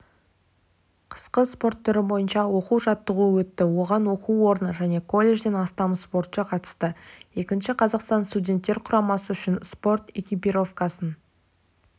қысқы спорт түрі бойынша оқу-жаттығу өтті оған оқу орны және колледжден астам спортшы қатысты екінші қазақстан студенттер құрамасы үшін спорт экипировкасын